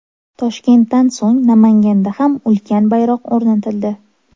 Toshkentdan so‘ng Namanganda ham ulkan bayroq o‘rnatildi.